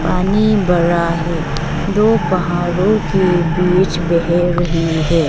पानी बरा है दो पहारो के बीच बह रही है।